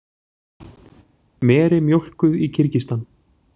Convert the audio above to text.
Meri mjólkuð í Kirgistan.